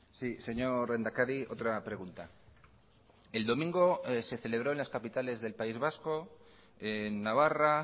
sí señor lehendakari otra pregunta el domingo se celebró en las capitales del país vasco en navarra